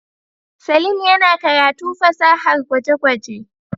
Saleem yana karatu fasahar gwaje-gwaje.